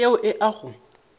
ke yeo e a go